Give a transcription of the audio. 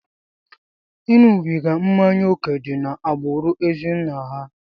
Ịṅụbiga mmanya ókè dị n'agbụrụ ezinna ha.